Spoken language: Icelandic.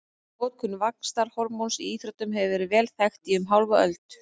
Notkun vaxtarhormóns í íþróttum hefur verið vel þekkt í um hálfa öld.